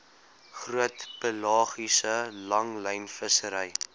groot pelagiese langlynvissery